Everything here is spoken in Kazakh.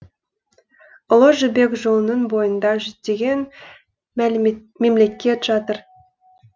ұлы жібек жолының бойында жүздеген мемлекет жатыр